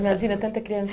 Imagina, tanta criança.